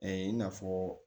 i n'a fɔ